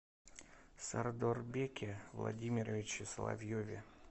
сардорбеке владимировиче соловьеве